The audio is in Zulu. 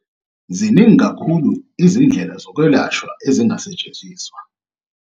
Ziningi kakhulu izindlela zokwelashwa ezingasetshenziswa.